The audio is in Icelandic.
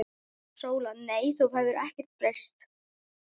SÓLA: Nei, þú hefur ekkert breyst.